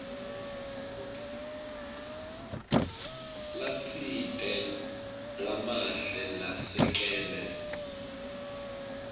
latsite lamahle lasekele